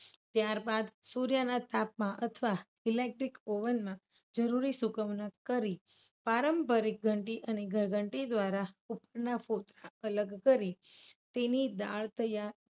ત્યારબાદ સૂર્યના તાપમાન electric oven માં જરૂરી સુકવણી કરી પારંપરિક ઘંટી અને ઘંટી દ્વારા અલગ કરી તેની દાળ તૈયાર